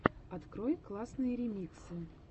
открой классные ремиксы